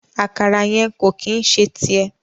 Àkàrà yẹn ko ki n ṣe tiẹ.